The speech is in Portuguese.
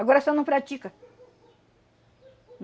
Agora só não pratica.